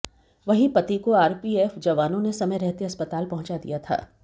वहीं पति को आरपीएफ जवानों ने समय रहते अस्पताल पहुंचा दिया था